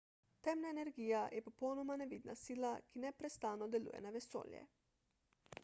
temna energija je popolnoma nevidna sila ki neprestano deluje na vesolje